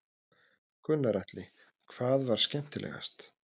Gunnar Atli: Hvað var skemmtilegast?